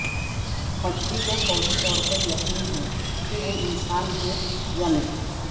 مچھلی کو فوری طور پر یقین ہے کہ وہ انسان ہیں یا نہیں